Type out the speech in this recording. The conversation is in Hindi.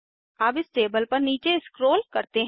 अब इस टेबल पर नीचे स्क्रोल करते हैं